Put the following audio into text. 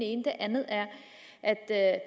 ene det andet er at at